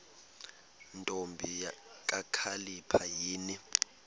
ntombi kakhalipha yini